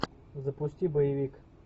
запусти боевик